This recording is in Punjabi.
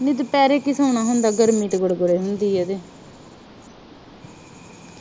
ਨੀ ਦੁਪੇਰੇ ਕੀ ਸੌਣਾ ਹੁੰਦਾ ਗਰਮੀ ਤਾ ਹੁੰਦੀ ਆ ਏਦੇ